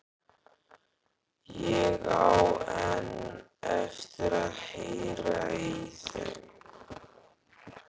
Ég á enn eftir að heyra í þeim.